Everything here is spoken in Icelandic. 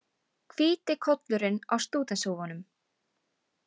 Hvíti kollurinn á stúdentshúfunum.